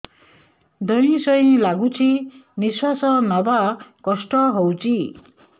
ଧଇଁ ସଇଁ ଲାଗୁଛି ନିଃଶ୍ୱାସ ନବା କଷ୍ଟ ହଉଚି